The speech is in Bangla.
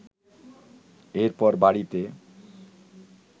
এরপর বাড়িতে